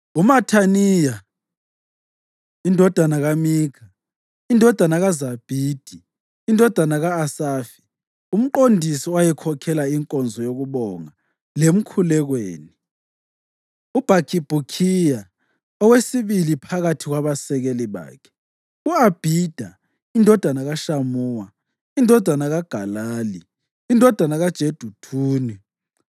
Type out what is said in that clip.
uMathaniya indodana kaMikha, indodana kaZabhidi, indodana ka-Asafi, umqondisi owayekhokhela inkonzo yokubonga lemkhulekweni; uBhakhibhukhiya, engowesibili phakathi kwabasekeli bakhe; u-Abhida indodana kaShamuwa, indodana kaGalali, indodana kaJeduthuni.